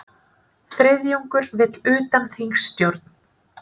Þriðjungur vill utanþingsstjórn